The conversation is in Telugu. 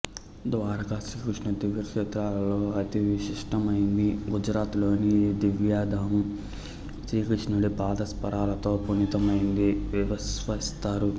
ద్వారక శ్రీకృష్ణుని దివ్య క్షేత్రాలలో అతి విశిష్టమైంది గుజరాత్ లోని ఈ దివ్యధామం శ్రీకృష్ణుని పాదస్పర్శతో పునీతమైందిగా విశ్వసిస్తారు